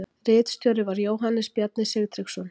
Ritstjóri var Jóhannes Bjarni Sigtryggsson.